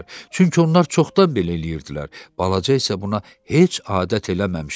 Çünki onlar çoxdan belə eləyirdilər, balaca isə buna heç adət eləməmişdi.